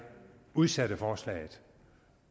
udsatte forslaget